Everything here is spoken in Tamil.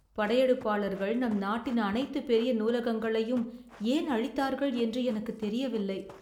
படையெடுப்பாளர்கள் நம் நாட்டின் அனைத்து பெரிய நூலகங்களையும் ஏன் அழித்தார்கள் என்று எனக்குத் தெரியவில்லை.